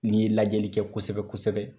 N'i ye lajɛli kɛ kosɛbɛ kosɛbɛ